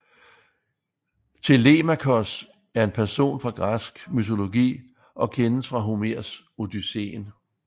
Telemakos er en person fra græsk mytologi og kendes fra Homers Odysseen